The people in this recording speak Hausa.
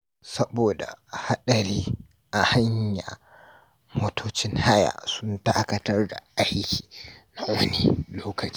Saboda hadari a hanya, motocin haya sun dakatar da aiki na wani lokaci.